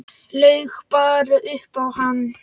Laug bara upp á hann.